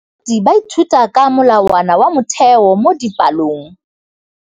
Baithuti ba ithuta ka molawana wa motheo mo dipalong.